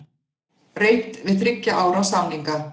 Reynt við þriggja ára samninga